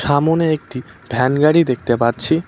সামোনে একটি ভ্যান গাড়ি দেখতে পারছি।